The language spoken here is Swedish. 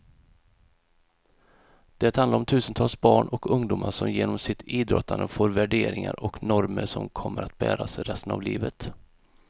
Det handlar om tusentals barn och ungdomar som genom sitt idrottande får värderingar och normer som kommer att bäras resten av livet.